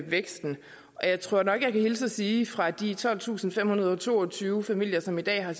væksten og jeg tror nok jeg kan hilse at sige fra de tolvtusinde og femhundrede og toogtyve familier som i dag har